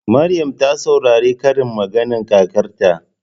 Maryam ta saurari karin maganar kakarta.